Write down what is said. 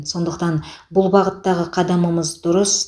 сондықтан бұл бағыттағы қадамымыз дұрыс